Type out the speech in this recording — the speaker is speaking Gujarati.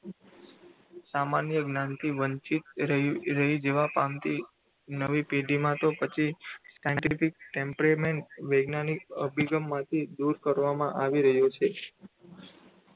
સામાન્ય જ્ઞાનથી વંચિત રહી રહી જવા પામતી નવી પેઢીમાં તો પછી Scientific temperament વૈજ્ઞાનિક અભિગમ માટે દૂર કરવામાં આવી રહ્યો છે.